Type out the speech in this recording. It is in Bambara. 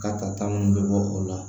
Ka kata mun bɛ bɔ o la